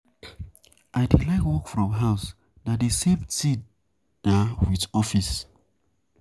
I dey like work from home, na the same thing naa with office.